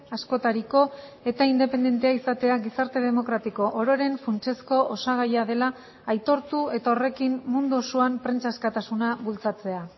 askotariko eta independentea izatea gizarte demokratiko ororen funtsezko osagaia dela aitortu eta horrekin mundu osoan prentsa askatasuna bultzatzea